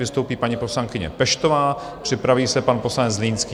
Vystoupí paní poslankyně Peštová, připraví se pan poslanec Zlínský.